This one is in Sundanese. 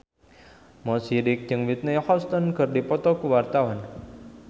Mo Sidik jeung Whitney Houston keur dipoto ku wartawan